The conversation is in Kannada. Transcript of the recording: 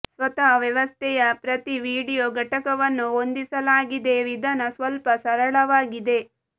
ಸ್ವತಃ ವ್ಯವಸ್ಥೆಯ ಪ್ರತಿ ವೀಡಿಯೊ ಘಟಕವನ್ನು ಹೊಂದಿಸಲಾಗಿದೆ ವಿಧಾನ ಸ್ವಲ್ಪ ಸರಳವಾಗಿದೆ